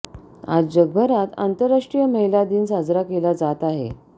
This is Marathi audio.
आज जगभरात आंतरराष्ट्रीय महिला दिन साजरा केला जात आहे